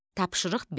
Tapşırıq 5.